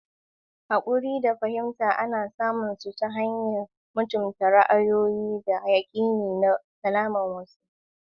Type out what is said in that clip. Hakuri da fahimta ana samun su ta hanyar mutunta ra'ayoyi, da yakini, da asalin wasu.